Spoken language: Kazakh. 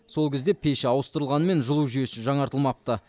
сол кезде пеші ауыстырылғанымен жылу жүйесі жаңартылмапты